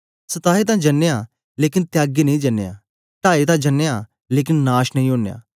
सताए तां जनयां लेकन त्यागे नेई जनयां टाए तां जनयां लेकन नाश नेई ओनयां